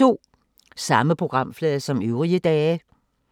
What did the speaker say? Samme programflade som øvrige dage